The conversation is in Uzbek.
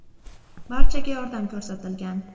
Barchaga yordam ko‘rsatilgan.